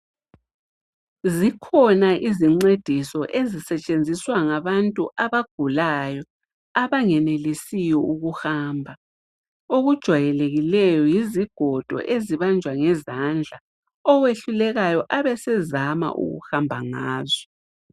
Zikhona izincediso ezisetshenziswa ngabantu abagulayo abangenelisiyo ukuhamba. Okwejwayelikileyo yizigodo ezibanjwa ngezandla owehlulekayo abesezama ukuhamba ngazo.